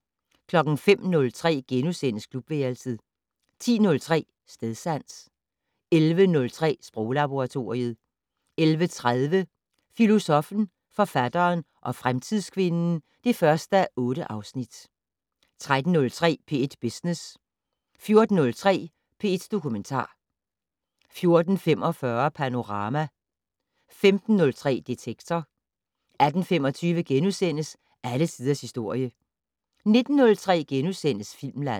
05:03: Klubværelset * 10:03: Stedsans 11:03: Sproglaboratoriet 11:30: Filosoffen, forfatteren og fremtidskvinden (1:8) 13:03: P1 Business 14:03: P1 Dokumentar 14:45: Panorama 15:03: Detektor 18:25: Alle tiders historie * 19:03: Filmland *